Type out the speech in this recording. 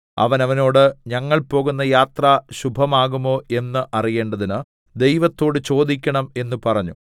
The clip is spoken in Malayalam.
അവർ അവനോട് ഞങ്ങൾ പോകുന്ന യാത്ര ശുഭമാകുമോ എന്ന് അറിയേണ്ടതിന് ദൈവത്തോട് ചോദിക്കേണം എന്ന് പറഞ്ഞു